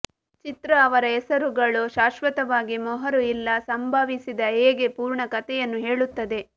ಚಿತ್ರ ಅವರ ಹೆಸರುಗಳು ಶಾಶ್ವತವಾಗಿ ಮೊಹರು ಇಲ್ಲ ಸಂಭವಿಸಿದ ಹೇಗೆ ಪೂರ್ಣ ಕಥೆಯನ್ನು ಹೇಳುತ್ತದೆ